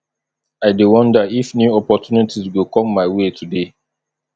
i dey wonder if new opportunities go come my way today